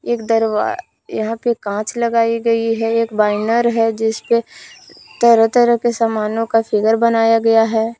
एक दरवा यहां पे कांच लगाई गई है एक बैनर है जिस पे तरह तरह के सामानों का फिगर बनाया गया है।